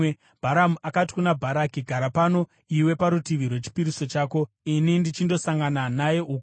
Bharamu akati kuna Bharaki, “Gara pano iwe parutivi rwechipiriso chako ini ndichindosangana naye uko.”